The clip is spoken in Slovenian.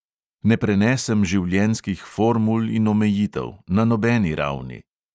Ne prenesem življenjskih formul in omejitev – na nobeni ravni.